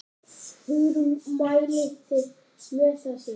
Hugrún: Mælið þið með þessu?